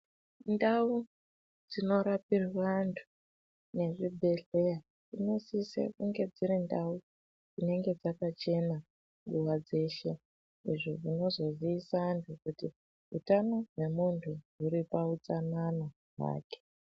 Ndau dzinorapirwe antu nezvibhehleya zvinosise kunge dziri ndau dzinenge dzakachena nguva dzeshe izvo zvinozozovise antu kuti utano hwemuntu huripautsanana hwake.